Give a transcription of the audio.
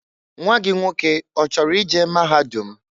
Nwa gị nwoke ọchọrọ i je maahadum?